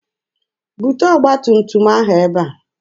Bute ọgba tum tum ahụ ebe a!